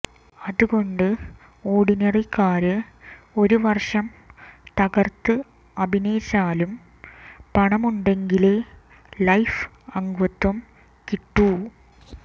അതുകൊണ്ട് ഓര്ഡിനറിക്കാരന് ഒരു വര്ഷം തകര്ത്ത് അഭിനയിച്ചാലും പണമുണ്ടെങ്കിലേ ലൈഫ് അംഗത്വം കിട്ടൂ